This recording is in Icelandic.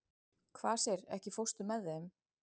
Kvasir, ekki fórstu með þeim?